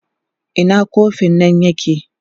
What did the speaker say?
Ina kofin nan yake?